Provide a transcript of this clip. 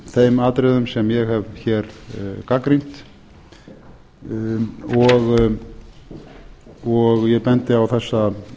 þeim atriðum sem ég hef hér gagnrýnt og ég bendi á þessa